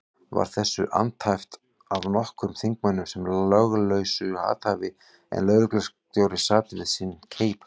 Var þessu andæft af nokkrum þingmönnum sem löglausu athæfi, en lögreglustjóri sat við sinn keip.